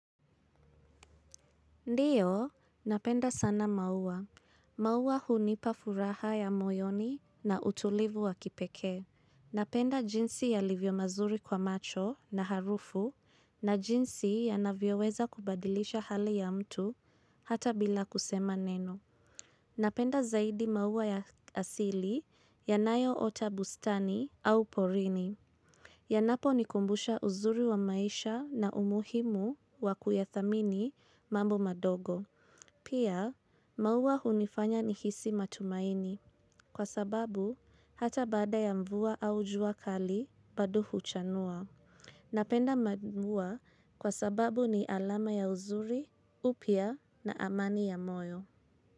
Ndiyo, napenda sana maua. Mauwa hunipa furaha ya moyoni na utulivu wa kipekee. Napenda jinsi yalivyo mazuri kwa macho na harufu na jinsi yanavyo weza kubadilisha hali ya mtu hata bila kusema neno. Napenda zaidi maua ya asili yanayo ota bustani au porini. Yanapo nikumbusha uzuri wa maisha na umuhimu wa kuyathamini mambo madogo. Pia, mauwa hunifanya nihisi matumaini kwa sababu hata baada ya mvua au jua kali bado huchanua. Napenda mvua kwa sababu ni alama ya uzuri, upya na amani ya moyo.